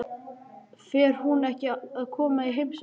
Fer hún ekki að koma í heimsókn?